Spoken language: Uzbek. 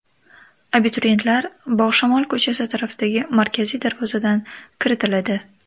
Abituriyentlar Bog‘ishamol ko‘chasi tarafdagi markaziy darvozadan kiritiladi.